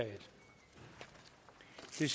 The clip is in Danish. det